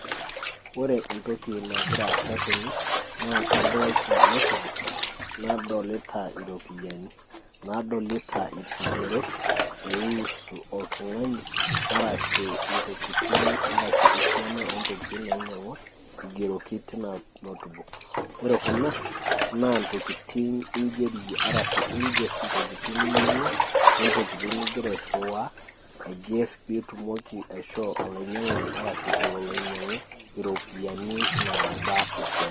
ore entoki nagira asa tene naa kadoolta notebook ,nadolita iropiyiani nadolita irkigerot, loihusu oltung'ani arashu esiana oontokitin naainyang'ua, naigeroki tina notebook ore kuna naa intokitin ninyang'ua niger pee itum ashoo olanyiang'ani ololo anyang'u iropiyiani esiana.